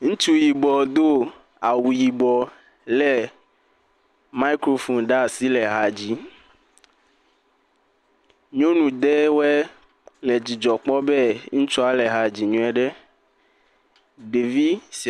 Ŋutsu yibɔ do awu yibɔ lé mikrofoni ɖe asi le ha dzim. Nyɔnu ɖewo le dzidzɔ kpɔm be ŋutsua le ha dzim nyuie.